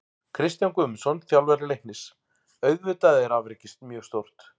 Kristján Guðmundsson, þjálfari Leiknis: Auðvitað er afrekið mjög stórt.